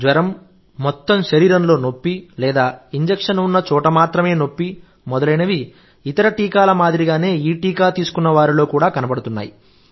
జ్వరం మొత్తం శరీరంలో నొప్పి లేదా ఇంజెక్షన్ ఉన్న చోట మాత్రమే నొప్పి మొదలైనవి ఇతర టీకాల మాదిరిగానే ఈ టీకా తీసుకున్నవారిలో కూడా కనబడుతున్నాయి